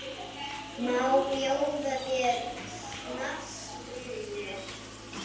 Má bjóða þér snafs, vinur?